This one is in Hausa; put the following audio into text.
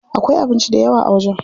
Akwai abinci dayawa a wajen.